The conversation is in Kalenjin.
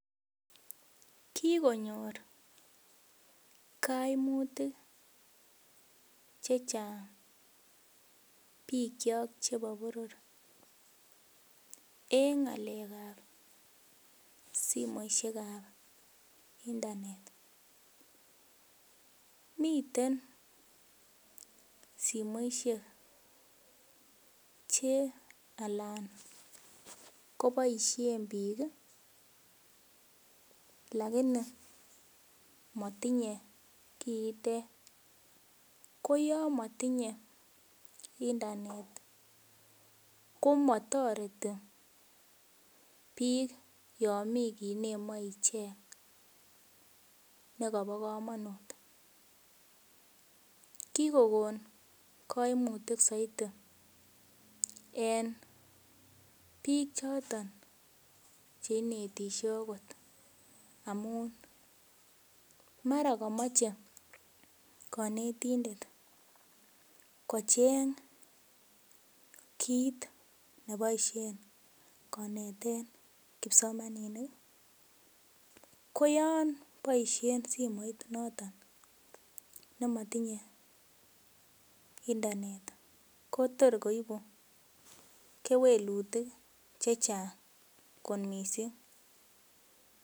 Kikonyor koimutik chechang bikyok chebo boror en ng'alek ab simoisiek ab internet miten simoisiek che alan koboisien biik lakini motinye kiitet ko yon motinye internet komotoreti biik yon mii kit nemoe icheng nekobo komonut kikokon koimutik soiti en biik choton cheinetisye okot amun mara komoche konetindet kocheng kit neboisien koneten kipsomaninik ko yon boisien simoit noton nemotinye internet ko tor koibu kewelutik chechang kot missing